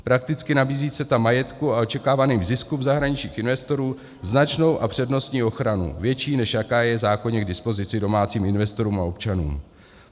Prakticky nabízí CETA majetku a očekávaným ziskům zahraničních investorů značnou a přednostní ochranu, větší, než jaká je v zákoně k dispozici domácím investorům a občanům.